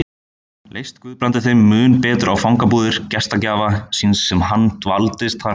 Leist Guðbrandi þeim mun betur á fangabúðir gestgjafa síns sem hann dvaldist þar lengur